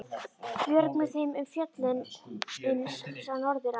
Björg með þeim um fjöllin uns sá norður af.